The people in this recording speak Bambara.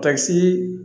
Takisi